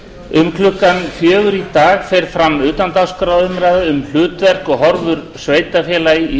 um klukkan fjögur í dag fer fram utandagskrárumræða um hlutverk og horfur sveitarfélaga í